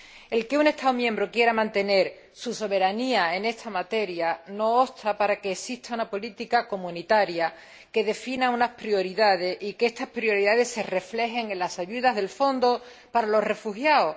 El que un Estado miembro quiera mantener su soberanía en esta materia no obsta para que exista una política comunitaria que defina unas prioridades y que estas prioridades se reflejen en las ayudas del Fondo para los Refugiados.